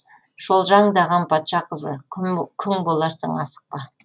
шолжаңдаған патша қызы күң боларсың асықпа